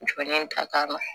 Jɔlen ta k'a la